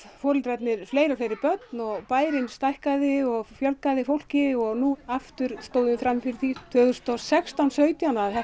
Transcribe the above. foreldrarnir fleiri og fleiri börn og bærinn stækkaði og fjölgaði fólki og nú aftur stóðum við frammi fyrir því tvö þúsund og sextán sautján þá